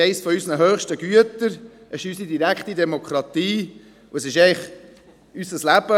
Das ist eines unserer höchsten Güter, unsere direkte Demokratie und eigentlich unser Leben.